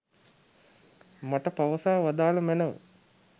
මට පවසා වදාළ මැනව.